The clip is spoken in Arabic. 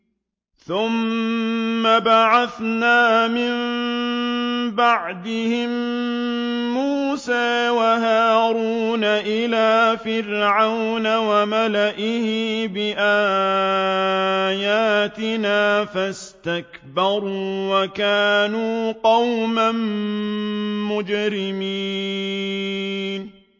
ثُمَّ بَعَثْنَا مِن بَعْدِهِم مُّوسَىٰ وَهَارُونَ إِلَىٰ فِرْعَوْنَ وَمَلَئِهِ بِآيَاتِنَا فَاسْتَكْبَرُوا وَكَانُوا قَوْمًا مُّجْرِمِينَ